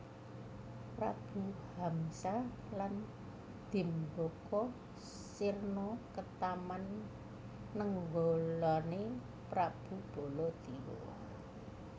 Prabu Hamsa lan Dimbaka sirna ketaman nenggalané Prabu Baladewa